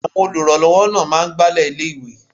Àwọn olùrànlọ́wọ́ náà máa ń Agbálẹ̀ ilé ìwé.